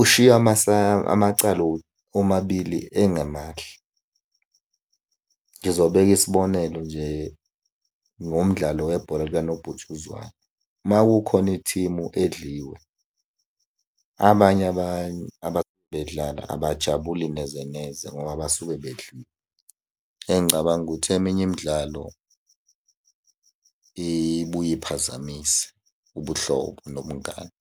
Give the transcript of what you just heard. Ushiye amacala omabili engemahle. Ngizobeka isibonelo nje, ngomdlalo webhola likanobhutshuzwayo. Uma kukhona i-team edliwe, abanye bedlala abajabuli neze neze ngoba basuke . Engicabanga ukuthi eminye imidlalo ibuye iphazamise ubuhlobo nobungani.